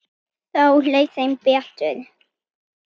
Þá leið þeim betur